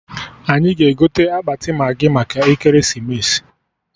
Anyị ga-egote akpati maghị maka ekeresimesi